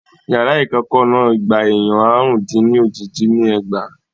Yàrá ìkẹ́ẹ̀kọ́ náà gba èèyàn àrùn-dín-ní-ójì dín ní ẹgbàá.